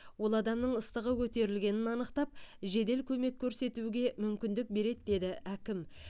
ол адамның ыстығы көтерілгенін анықтап жедел көмек көрсетуге мүмкіндік береді деді әкім